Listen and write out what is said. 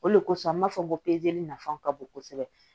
O de kosɔn n b'a fɔ ko nafa ka bon kosɛbɛ